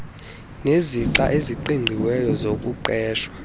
nezixa eziqingqiweyo zokuqeshwa